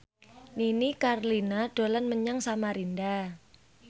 Nini Carlina dolan menyang Samarinda